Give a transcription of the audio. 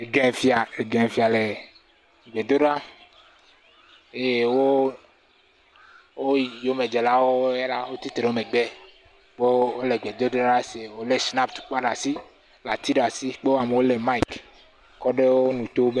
Ɛgẽ fia, Ɛgẽ fia le gbedo ɖa, eye wo yome dze lawo la wo titre wo me gbe, vɔ wole gbe dodo ɖa se wole shinap tukpa ɖe asi le ati ɖe asi kpo amewo le maik kɔɖe wo nuto be.